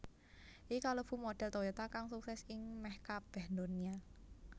Iki kalebu modhel Toyota kang sukses ing meh kabeh ndonya